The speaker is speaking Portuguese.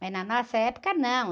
Mas na nossa época, não.